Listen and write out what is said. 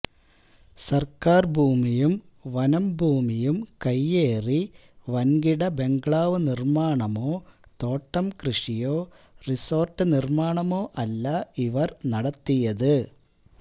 സര്ക്കാര് ഭൂമിയും വനം ഭൂമിയും കൈയേറി വന്കിട ബംഗ്ലാവ് നിര്മാണമോ തോട്ടം കൃഷിയോ റിസോര്ട്ട് നിര്മാണമോ അല്ല ഇവര് നടത്തിയതത്